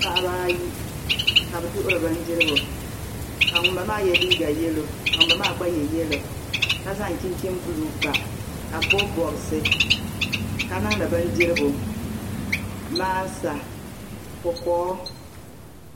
Paɣaba ayi ka bɛ duɣuri bindirigu ka ŋun ba maa ye liiga ka zaŋ yelo ka ŋun ba maa gba ye yelo ka zaŋ chinchin'bulu pa ka bɛ bobi bobisi ka niŋdi bindirigu maasa kokoo.